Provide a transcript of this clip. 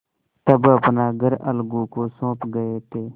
तब अपना घर अलगू को सौंप गये थे